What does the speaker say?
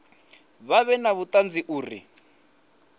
vha vhe na vhuṱanzi uri